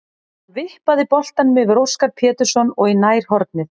Hann vippaði boltanum yfir Óskar Pétursson og í nærhornið.